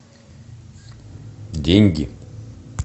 деньги